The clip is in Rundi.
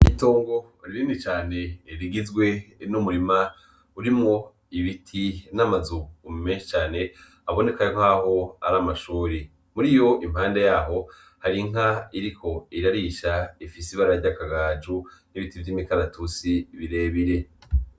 Itongo rinini cane rigizwe n'umurima urimwo ibiti n'amazu menshi cane haboneka nkaho ari amashure , muri yo impande yaho hari inka iriko irarisha ifise ibara ry'akagajo n'ibiti vy'imikaratusi birebire.